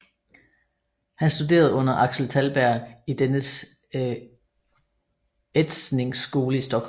Han studerede under Axel Tallberg i dennes etsningsskole i Stockholm